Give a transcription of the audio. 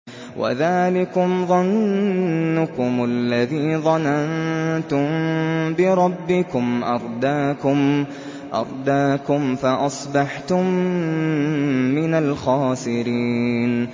وَذَٰلِكُمْ ظَنُّكُمُ الَّذِي ظَنَنتُم بِرَبِّكُمْ أَرْدَاكُمْ فَأَصْبَحْتُم مِّنَ الْخَاسِرِينَ